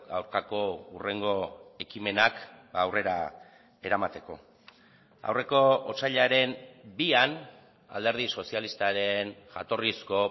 aurkako hurrengo ekimenak aurrera eramateko aurreko otsailaren bian alderdi sozialistaren jatorrizko